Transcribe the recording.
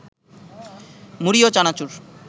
মুড়ি ও চানাচুর